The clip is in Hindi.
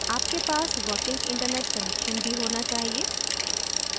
आपके पास कार्यकारी/working internet connection भी होना चाहिए